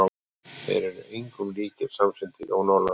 Þeir eru engum líkir, samsinnti Jón Ólafur.